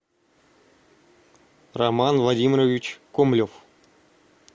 роман владимирович комлев